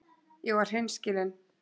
Ég var hreinskilin.